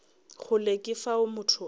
kgole ke fao motho a